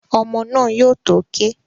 Ọmọ́ náà yóò tó ké